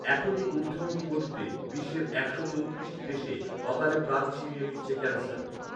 এখনই ঊধর্বমুখী গতিতে বিশ্বের একশো চৌত্রিশটি দেশে অকালে প্রাণ ছিনিয়ে নিচ্ছে ক্যানসার